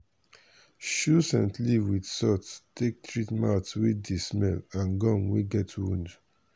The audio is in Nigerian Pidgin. chew scent leaf with salt take treat mouth wey dey smell and gum wey get wound.